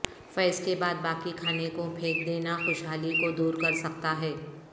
فیض کے بعد باقی کھانے کو پھینک دینا خوشحالی کو دور کر سکتا ہے